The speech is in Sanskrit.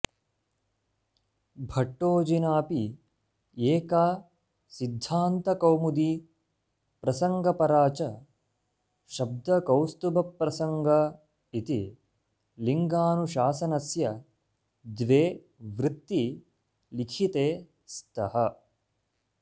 भट्टोजिनाऽपि एका सिद्धान्तकौमुदी प्रसङ्ग ऽपरा च शब्दकौस्तुभप्रसङ्ग इति लिङ्गानुशासनस्य द्वे वृत्ती लिखिते स्तः